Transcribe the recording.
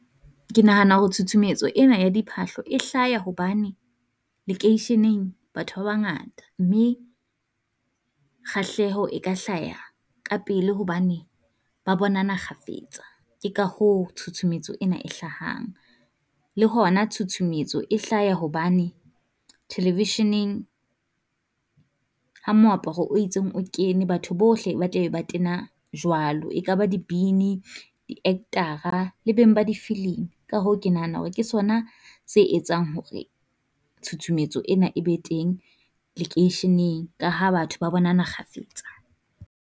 Ke nahana ho tshutshumetso ena ya diphahlo e hlaha hobane lekeisheneng batho ba bangata, mme kgahleho e ka hlaha ka pele hobane ba bonana kgafetsa, ke ka hoo tshutshumetso ena e hlahang. Le hona tshutshumetso e hlaha hobane thelevisheneng ha moaparo o itseng o kene, batho bohle ba tlabe ba tena jwalo. E ka ba dibini, di actor-ra, le beng ba di filimi, Ka hoo ke nahana hore ke sona se etsang hore tshutshumetso ena e be teng lekeisheneng, ka ha batho ba bonana kgafetsa.